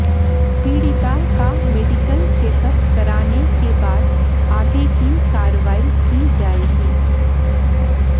पीड़िता का medical checkup कराने के बाद आगे की कार्रवाई की जाएगी